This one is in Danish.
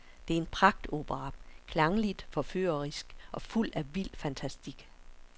Det er en pragtopera, klangligt forførerisk og fuld af vild fantastik.